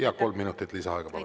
Jah, kolm minutit lisaaega, palun.